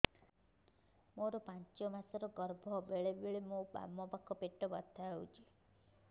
ମୋର ପାଞ୍ଚ ମାସ ର ଗର୍ଭ ବେଳେ ବେଳେ ମୋ ବାମ ପାଖ ପେଟ ବଥା ହଉଛି